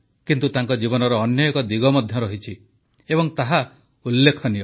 କିନ୍ତୁ ତାଙ୍କ ଜୀବନର ଅନ୍ୟ ଏକ ଦିଗ ମଧ୍ୟ ରହିଛି ଏବଂ ତାହା ଉଲ୍ଲେଖନୀୟ